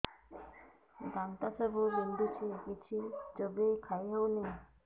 ଦାନ୍ତ ସବୁ ବିନ୍ଧୁଛି କିଛି ଚୋବେଇ ଖାଇ ହଉନି